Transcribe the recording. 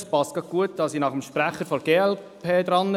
Es passt gut, dass ich nach dem Sprecher der glp dran bin.